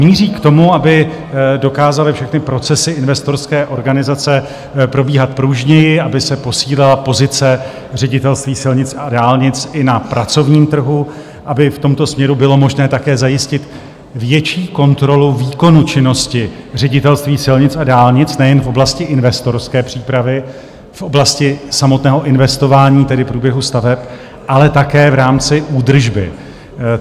Míří k tomu, aby dokázaly všechny procesy investorské organizace probíhat pružněji, aby se posílila pozice Ředitelství silnic a dálnic i na pracovním trhu, aby v tomto směru bylo možné také zajistit větší kontrolu výkonu činnosti Ředitelství silnic a dálnic nejen v oblasti investorské přípravy, v oblasti samotného investování, tedy průběhu staveb, ale také v rámci údržby.